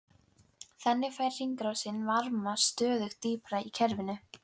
Þannig fær hringrásin varma stöðugt dýpra úr kerfinu.